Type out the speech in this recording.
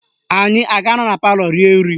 Anyị a ga-anọ na palọ rie nri?